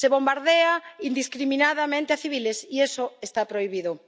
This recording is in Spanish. Se bombardea indiscriminadamente a civiles, y eso está prohibido.